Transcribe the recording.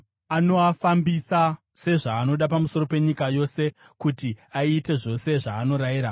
Anoafambisa sezvaanoda pamusoro penyika yose, kuti aite zvose zvaanoarayira.